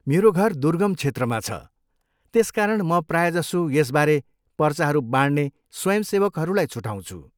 मेरो घर दुर्गम क्षेत्रमा छ, त्यसकारण म प्रायजसो यसबारे पर्चाहरू बाँड्ने स्वयंसेवकहरूलाई छुटाउँछु।